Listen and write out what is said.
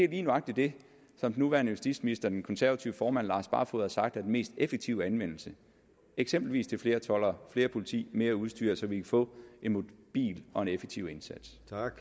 lige nøjagtigt det som den nuværende justitsminister og den konservative formand herre lars barfoed har sagt er den mest effektive anvendelse eksempelvis til flere toldere mere politi mere udstyr så vi kan få en mobil og effektiv indsats